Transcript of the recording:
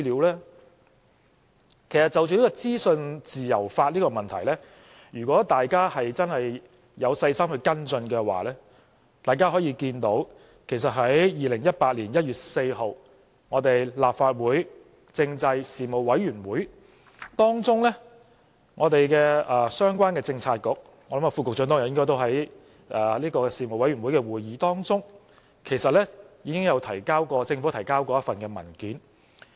其實，就着資訊自由法，如果大家真有細心跟進的話，大家可以看到，其實在2018年1月4日立法會政制事務委員會的會議當中，相關的政策局，我相信局長應該也在事務委員會的會議中，政府其實已提交過一份文件。